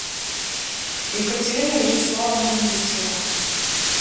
екатерина вячеславовна нестерова